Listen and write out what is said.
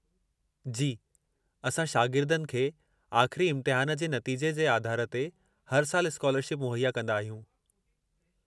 जी, असां शागिर्दनि खे आख़िरी इम्तिहान जे नतीजे जे आधार ते हर सालु स्कालरशिप मुहैया कंदा आहियूं।